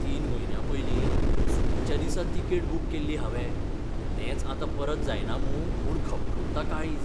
तीन म्हयन्यां पयलीं चुकिच्या दिसा तिकेट बूक केल्ली हावें, तेंच आतां परत जायना मूं म्हूण घपघपता काळीज!